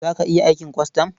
Za ka iya aikin kwastam?